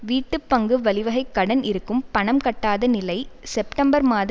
வீட்டு பங்கு வழிவகைக் கடன் இருக்கும் பணம் கட்டாத நிலை செப்டம்பர்மாத